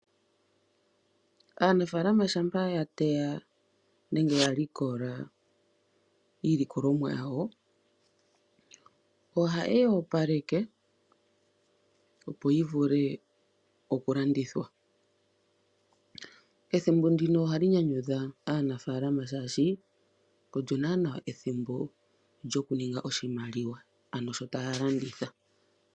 Aanafaalama shampa ya teya nenge ya likola iilikolomwa yawo, ohaye yi opaleke opo yi vule oku landithwa. Ethimbo ndino ohali nyanyudha aanafaalama shaashi olyo naana ethimbo lyoku mona oshimaliwa. Ano sho taya landitha.